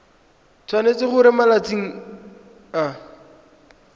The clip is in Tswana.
tshwanetse gore mo malatsing a